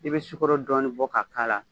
I bɛ sukoro dɔɔni bɔ ka a k'a la